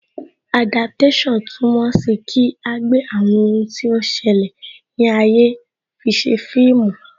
Adaptation túmọ̀ sí kí agbe àwọn ohun tí ó ń ṣẹlẹ̀ ní ayé fise fíìmù